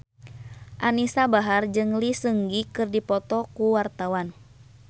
Anisa Bahar jeung Lee Seung Gi keur dipoto ku wartawan